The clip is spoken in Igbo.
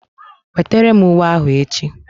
Wetara m uwe ahụ echi!